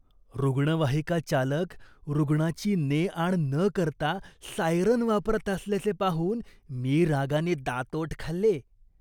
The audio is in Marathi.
रुग्णवाहिका चालक रुग्णाची ने आण न करता सायरन वापरत असल्याचे पाहून मी रागाने दातओठ खाल्ले.